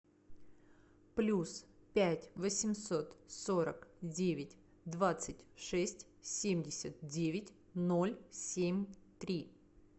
плюс пять восемьсот сорок девять двадцать шесть семьдесят девять ноль семь три